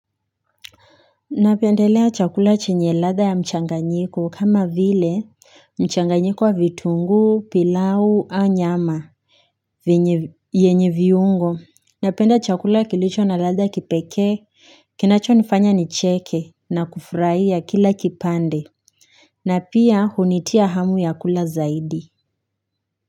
Napendelea chakula chenye latha ya mchanganyiko kama vile mchanganyiko wa vitunguu pilau au nyama Vinye yenye viungo Napenda chakula kilicho na latha kipekee Kinacho nifanya nicheke na kufurahia kila kipande na pia hunitia hamu ya kula zaidi.